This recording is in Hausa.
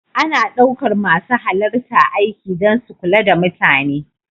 Ana ɗaukar masu halarta aiki don su kula da mutane.